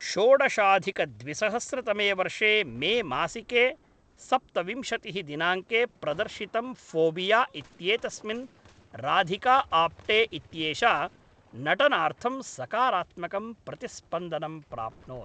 षोडशाधिकद्विसहस्रतमे वर्षे मेमासिके सप्तविंशतिः दिनाङ्के प्रदर्शितं फ़ोबिया इत्येतस्मिन् राधिका आप्टे इत्येषा नटनार्थं सकारात्मकं प्रतिस्पन्दनं प्राप्नोत्।